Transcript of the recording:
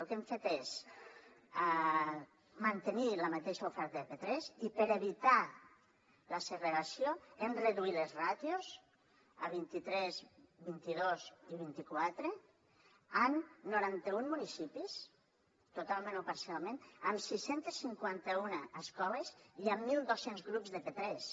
el que hem fet és mantenir la mateixa oferta de p3 i per evitar la segregació hem reduït les ràtios a vint i tres vint i dos i vint i quatre en noranta un municipis totalment o parcialment amb sis cents i cinquanta un escoles i amb mil dos cents grups de p3